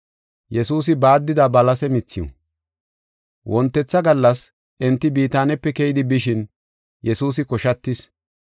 Wontetha gallas enti Bitaanepe keyidi bishin, Yesuusi koshatis.